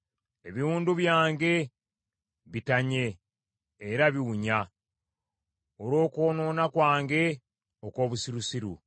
Ebiwundu byange bitanye era biwunya, olw’okwonoona kwange okw’obusirusiru.